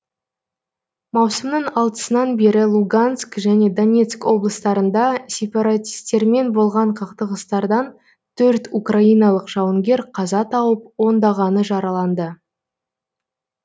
маусымның алтысынан бері луганск және донецк облыстарында сепаратистермен болған қақтығыстардан төрт украиналық жауынгер қаза тауып ондағаны жараланды